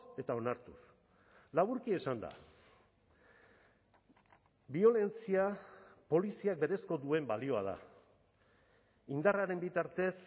eta onartuz laburki esanda biolentzia poliziak berezko duen balioa da indarraren bitartez